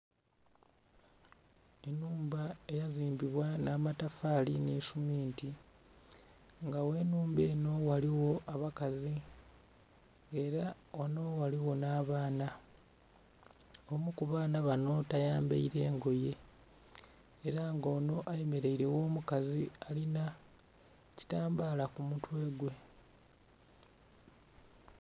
Enhumba eya zimbibwa nha matafali nhi suminti nga ghe nhumba enho ghaligho abakazi nga era ghanho ghaligho nha baana omu ku baana banho tayambaire ngoye era nga onho ayemereire gho mukazi alinha ekitambala ku mutwe gwe.